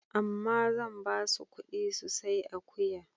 Amma zan ba su ƙuɗi su sai akuya.